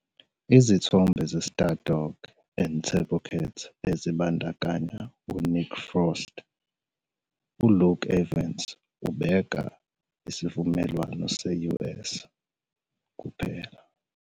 "Izithombe ze-'Stardog And Turbocat 'ezibandakanya uNick Frost, uLuka Evans ubeka isivumelwano se-US, kuphela.